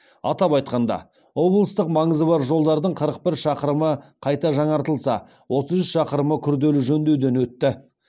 атап айтқанда облыстық маңызы бар жолдардың қырық бір шақырымы қайта жаңартылса отыз үш шақырымы күрделі жөндеуден өтті